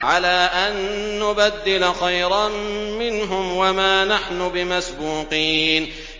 عَلَىٰ أَن نُّبَدِّلَ خَيْرًا مِّنْهُمْ وَمَا نَحْنُ بِمَسْبُوقِينَ